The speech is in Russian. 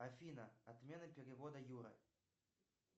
афина отмена перевода юра